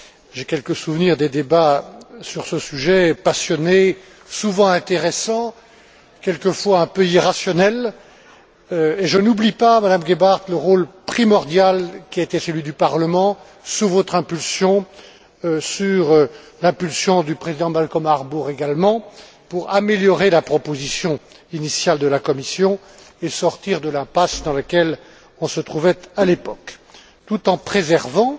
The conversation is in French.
J'ai quelques souvenirs des débats passionnés sur ce sujet, souvent intéressants, quelquefois un peu irrationnels, et je n'oublie pas, Madame Gebhardt, le rôle primordial qui a été celui du Parlement, sous votre impulsion, sous l'impulsion du président Malcolm Harbour également, pour améliorer la proposition initiale de la Commission et sortir de l'impasse dans laquelle on se trouvait à l'époque, tout en préservant